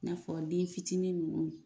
N'a fɔ den fitinin nunnu.